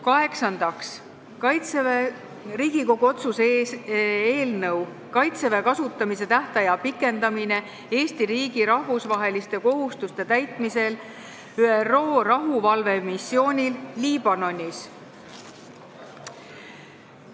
Kaheksandaks, Riigikogu otsuse "Kaitseväe kasutamise tähtaja pikendamine Eesti riigi rahvusvaheliste kohustuste täitmisel ÜRO rahuvalvemissioonil Liibanonis" eelnõu.